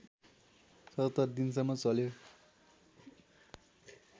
७७ दिनसम्म चल्यो